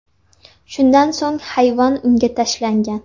Shundan so‘ng hayvon unga tashlangan.